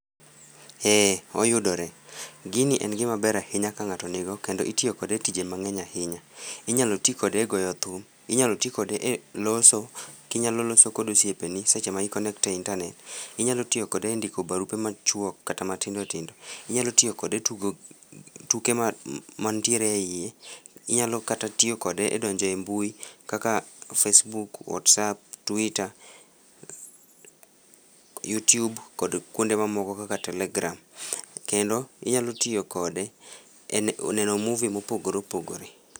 Ee oyudore. Gini en gima ber ahinya ka ng'ato nigo kendo itiyo kode tije mang'eny ahinya. Inyalo ti kode e goyo thum, inyalo ti kode e loso, kinyalo loso kod osiepeni seche ma i connect e e internet. Inyalo tiyo kode e ndiko barupe machuok kata matindotindo. Inyalo tiyo kode e tugo tuke ma mantiere e yie. Inyalo kata tiyo kode e donjo e mbui kaka Facebook, WhatsApp, Twitter YouTube kod kwonde mamoko kaka Telegram. Kendo, inyalo tiyo kode e neno movie mopogore opogore